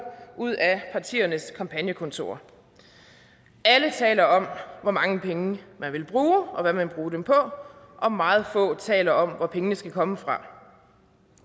ud af partiernes kampagnekontorer alle taler om hvor mange penge man vil bruge og hvad man vil bruge dem på og meget få taler om hvor pengene skal komme fra